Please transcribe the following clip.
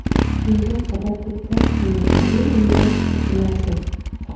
Imkon qadar ko‘proq tomoshabin unga tushishi lozim.